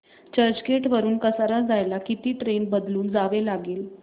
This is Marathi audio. चर्चगेट वरून कसारा जायला किती ट्रेन बदलून जावे लागेल